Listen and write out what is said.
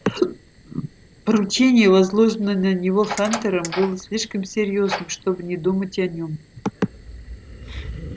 поручение возложенное на него хантером было слишком серьёзным чтобы не думать о нём